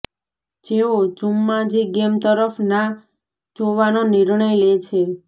જેઓ Jumanji game તરફ ના જોવાનો નિર્ણય લે છે